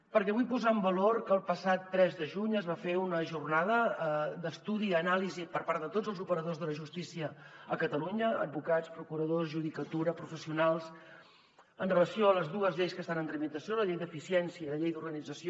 perquè vull posar en valor que el passat tres de juny es va fer una jornada d’estudi i anàlisi per part de tots els operadors de la justícia a catalunya advocats procuradors judicatura professionals amb relació a les dues lleis que estan en tramitació la llei d’eficiència i la llei d’organització